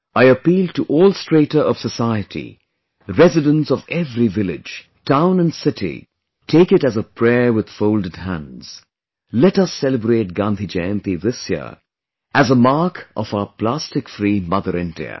I appeal to all strata of society, residents of every village, town & city, take it as a prayer with folded hands; let us celebrate Gandhi Jayanti this year as a mark of our plastic free Mother India